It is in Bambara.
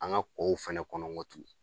An ka kɔ fana kɔnɔ n gɔ tuguni.